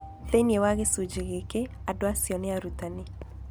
Thĩinĩ wa gĩcunjĩ gĩkĩ, andũ acio nĩ arutani.